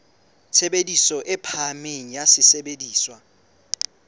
tshebediso e phahameng ya sesebediswa